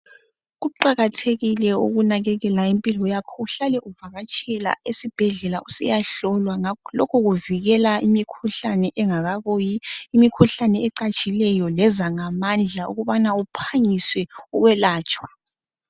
Kuqakathekile ukunakekela impilo yakho uhlale uvakatshele esibhedlela usiya hlolwa ngakho lokhu kuvikela imikhuhlane engakabuyi imikhuhlane ecatshileyo ngenza ngamandla ukubana uphangise ukwelatshwa.